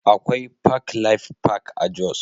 Akwai Park Life Park a Jos